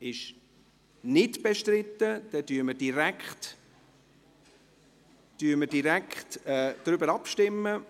– Es ist nicht bestritten, dann stimmen wir direkt darüber ab.